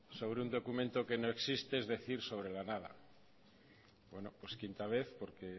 sobre un documento que no existe es decir sobre la nada bueno pues quinta vez porque